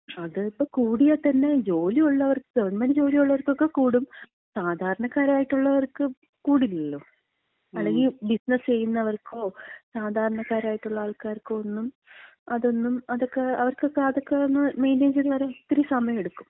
അത് ഇപ്പം കൂടിയാത്തന്നെ ജോലിയുള്ളവർക്ക്, ഗവൺമെന്‍റ് ജോലി ഉള്ളവർക്കൊക്കെ കൂടും, സാധാരണക്കാരായിട്ടൊള്ളവർക്ക് കൂടില്ലല്ലോ, അല്ലെങ്കി ബിസിനസ് ചെയ്യുന്നവർക്കോ സാധാരണക്കാരായിട്ടുള്ളാൾക്കാർക്കോ, ഒന്നും അതൊന്നും അതക്ക അവർക്കക്ക അതൊക്കെ ഒന്ന് മെയിന്‍റെയ്ൻ ചെയ്ത് വരാൻ ഒരിത്തിരി സമയം എടുക്കും.